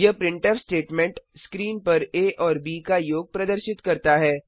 यह printf statement screen पर आ और ब का योग प्रदर्शित करता है